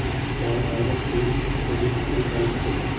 જ્યારે direct deal થોડી મોંઘી પડી શકે છે